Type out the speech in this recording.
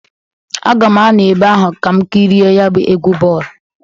Aga m anọ ebe ahụ ka m kiri e ya bụ egwụ bọọlụ.